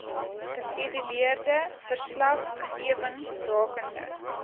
geskeduleerde verslaggewing rakende